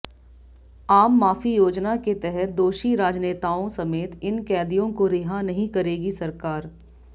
आम माफी योजना के तहत दोषी राजनेताओं समेत इन कैदियों को रिहा नहीं करेगी सरकार